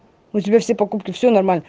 у тебя все покупки все нормально